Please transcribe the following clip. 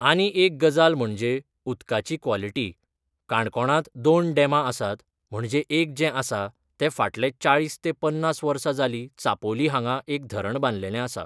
आनी एक गजाल म्हणजे उदकाची क्वोलिटी काणकोणांत दोन डेमां आसात म्हणजे एक जे आसा ते फाटले चाळीस तें पन्नास वर्सा जाली चापोली हांगा एक धरण बांदलेले आसा